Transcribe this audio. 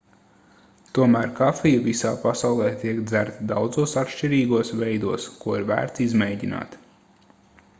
tomēr kafija visā pasaulē tiek dzerta daudzos atšķirīgos veidos ko ir vērts izmēģināt